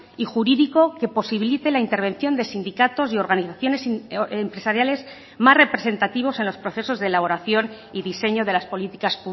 y jurídico que posibilite la intervención de sindicatos y organizaciones empresariales más representativos en los procesos de elaboración y diseño de las políticas